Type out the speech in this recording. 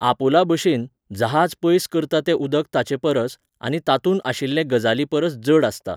आपोला बशेन, जहाज पयस करता तें उदक ताचे परस, आनी तातूंत आशिल्ले गजाली परस जड आसता.